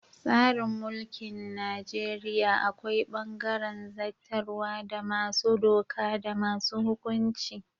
Tsarin mulkin Najeriya akwai bangaren zattarwa da masu doka da masu hukunci.